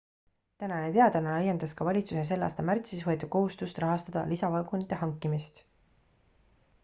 tänane teadaanne laiendas ka valitsuse selle aasta märtsis võetud kohustust rahastada lisavagunite hankimist